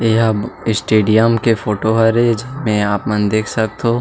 यह स्टेडियम के फोटो हरे जेमे आप मन देख सकथो।